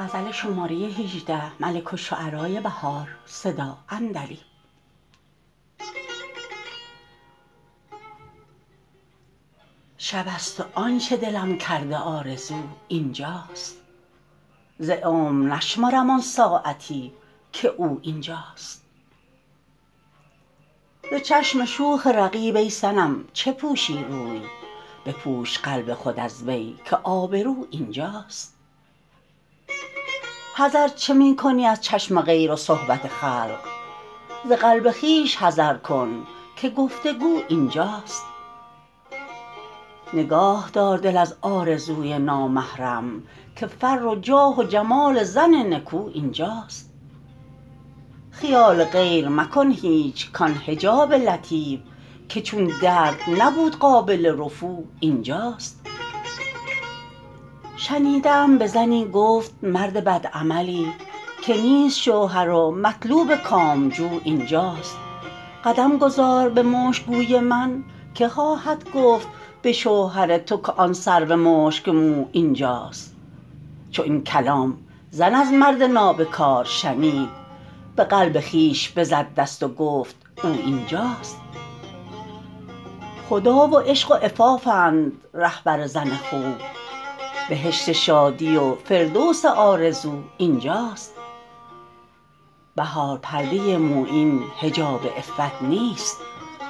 شب است و آنچه دلم کرده آرزو اینجاست ز عمر نشمرم آن ساعتی که او اینجاست ز چشم شوخ رقیب ای صنم چه پوشی روی بپوش قلب خود از وی که آبرو اینجاست حذر چه می کنی از چشم غیر و صحبت خلق ز قلب خویش حذر کن که گفت وگو اینجاست نگاهدار دل از آرزوی نامحرم که فر و جاه و جمال زن نکو اینجاست خیال غیر مکن هیچ کان حجاب لطیف که چون درد نبود قابل رفو اینجاست شنیده ام به زنی گفت مرد بد عملی که نیست شوهر و مطلوب کامجو اینجاست قدم گذار به مشگوی من - که خواهدگفت به شوهر تو که آن سرو مشکمو اینجاست چو این کلام زن از مرد نابکار شنید به قلب خویش بزد دست و گفت او اینجاست خدا و عشق و عفافند رهبر زن خوب بهشت شادی و فردوس آرزو اینجاست بهار پرده مویین حجاب عفت نیست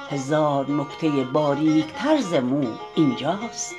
هزار نکته باریکتر ز مو اینجاست